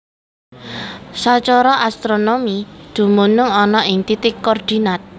Sacara astronomi dumunung ana ing titik koordinat